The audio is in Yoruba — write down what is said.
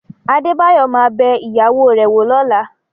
Adébáyọ̀ ma bẹ ìyàwó rẹ̀ wò lọ́la